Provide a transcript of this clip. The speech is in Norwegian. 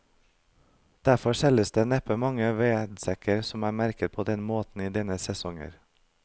Derfor selges det neppe mange vedsekker som er merket på denne måten denne sesongen.